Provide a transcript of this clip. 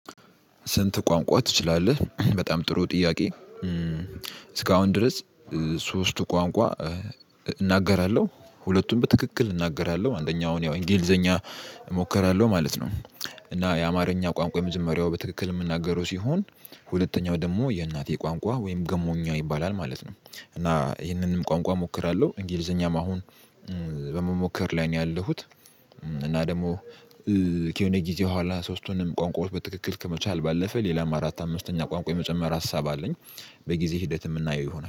ስንት? ቋንቋ ትችላለህ በጣም ጥሩ ጥያቄ እስካሁን ድረስ ሶስቱ ቋንቋ እናገራለሁ ሁለቱም በትክክል እናገራለሁ አንደኛው ያው እንግሊዘኛ እሞክራለሁ ማለት ነው። እና የአማርኛ ቋንቋ የምዝመሪያው በትክክል የምናገረው ሲሆን ሁለተኛው ደግሞ የእናቴ ቋንቋ ወይም ገሞኛ ይባላል ማለት ነው። እና ይህንንም ቋንቋ እሞክራለሁ እንግሊዘኛም አሁን በመሞከር ላይ ነው ያለሁት። እና ደግሞ ከሆነ ጊዜ በኋላ ሶስቱንም ቋንቋዎች በትክክል ከመቻል ባለፈ ሌላም አራት አምስተኛ ቋንቋ የመጨመር ሀሳብ አለኝ። በጊዜ ሂደት የምናየው ይሆናል